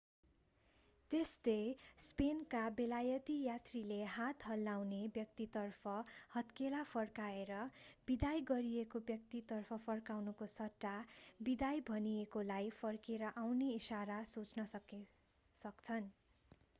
त्यस्तै स्पेनका बेलायती यात्रीले हात हल्लाउने व्यक्तितर्फ हत्केला फर्काएर बिदाई गरिएको व्यक्तितर्फ फर्काउनुको सट्टा बिदाई भनिएकोलाई फर्केर आउने इशारा सोच्न सक्छन्।